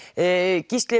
Gísli